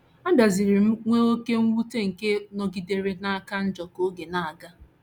Abịaziri m nwee oké mwute nke nọgidere na - aka njọ ka oge na - aga.